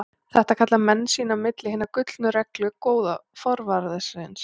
Þetta kalla menn sín á milli Hina gullnu reglu góða forvarðarins.